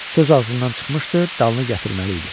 Söz ağzından çıxmışdı, dalını gətirməli idi.